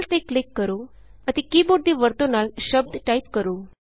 cell ਤੇ click ਕਰੋ ਅਤੇ ਕੀ ਬੋਰਡ ਦੀ ਵਰਤੋਂ ਨਾਲ ਸ਼ਬਦ ਟਾਈਪ ਕਰੋ